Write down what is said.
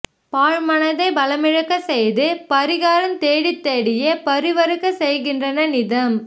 பாழ்மனதைப் பலமிழக்கச் செய்து பரிகாரம் தேடித் தேடியே பரிவறுக்கச் செய்கின்றன நிதம்